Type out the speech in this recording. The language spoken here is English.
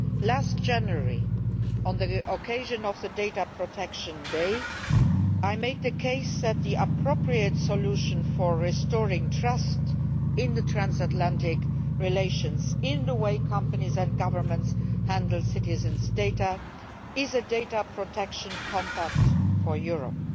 Last January, on the occasion of Data Protection Day, I made the case that the appropriate solution for restoring trust in transatlantic relations and in the way that companies and governments handle citizens' data is a data protection compact for Europe.